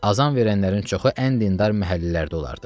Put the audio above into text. Azan verənlərin çoxu ən dindar məhəllələrdə olardı.